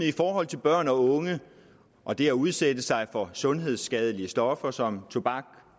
i forhold til børn og unge og det at udsætte sig for sundhedsskadelige stoffer som tobak